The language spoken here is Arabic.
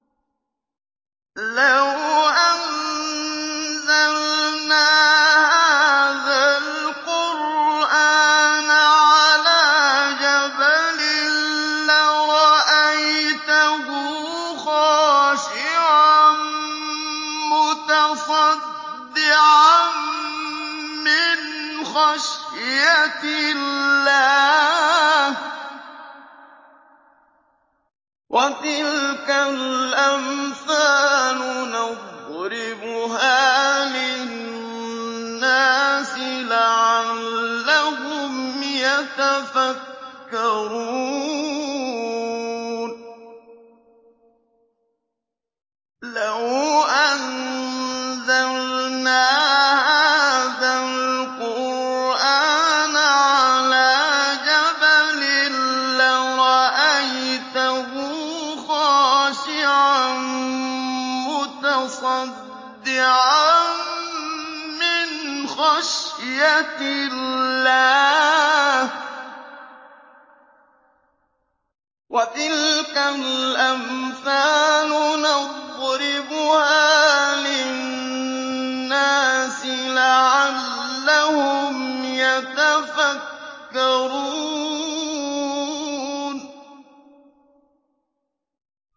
لَوْ أَنزَلْنَا هَٰذَا الْقُرْآنَ عَلَىٰ جَبَلٍ لَّرَأَيْتَهُ خَاشِعًا مُّتَصَدِّعًا مِّنْ خَشْيَةِ اللَّهِ ۚ وَتِلْكَ الْأَمْثَالُ نَضْرِبُهَا لِلنَّاسِ لَعَلَّهُمْ يَتَفَكَّرُونَ